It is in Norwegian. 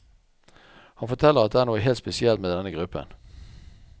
Han forteller at det er noe helt spesielt med denne gruppen.